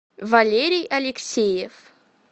валерий алексеев